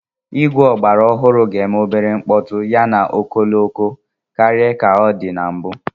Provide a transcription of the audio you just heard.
Igwe ọgbara ọhụrụ ga-eme obere mkpọtụ yana ọkọlọtọ karịa ka ọ dị mbụ.